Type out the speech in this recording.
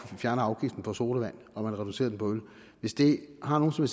fjerner afgiften på sodavand og man reducerer den på øl hvis det har nogen som